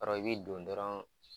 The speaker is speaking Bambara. Yarɔ i bi don dɔrɔn